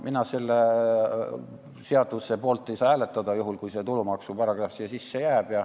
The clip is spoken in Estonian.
Mina selle seaduseelnõu poolt ei saa hääletada, kui see tulumaksuparagrahv sisse jääb.